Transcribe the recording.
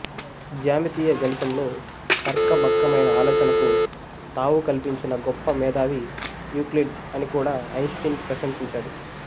జ్యామితీయ గణితంలో తర్క బక్కమైన ఆలోచనకు తావు కల్పించిన గొప్ప మేధావి యూక్లిడ్ అని కూడా ఐన్ స్టీన్ ప్రశంశించాడు